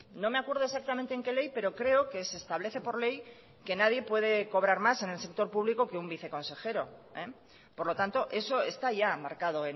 no me acuerdo exactamente en qué ley pero creo que se establece por ley que nadie puede cobrar más en el sector público que un viceconsejero por lo tanto eso está ya marcado